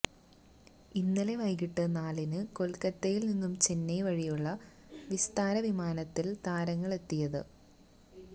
ഇന്നലെ വൈകിട്ട് നാലിന് കൊല്ക്കത്തയില് നിന്നും ചെന്നൈ വഴിയുള്ള വിസ്താര വിമാനത്തില് താരങ്ങളെത്തിയത്